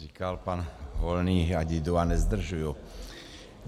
Říkal pan Volný, ať jdu a nezdržuji.